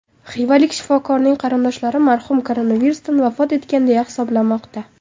Xivalik shifokorning qarindoshlari marhum koronavirusdan vafot etgan deya hisoblamoqda.